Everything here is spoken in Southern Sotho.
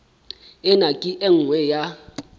ena ke e nngwe ya